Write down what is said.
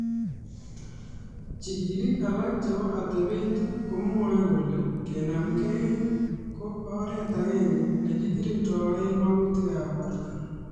Jikiliik alak chebo atebet komwoei kole kenamgei ko oreet agenge ne kigirindoe magutikab borto.